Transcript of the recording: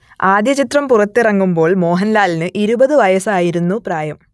ആദ്യ ചിത്രം പുറത്തിറങ്ങുമ്പോൾ മോഹൻലാലിന് ഇരുപത് വയസ്സായിരുന്നു പ്രായം